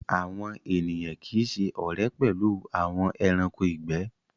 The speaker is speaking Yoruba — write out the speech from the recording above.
Awọn ènìyàn kíì ṣẹ ọ̀rẹ̀ pẹ̀lú awọn ẹ̀ránkò igbẹ̀